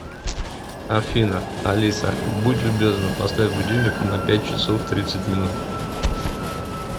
афина алиса будь любезна поставь будильник на пять часов тридцать минут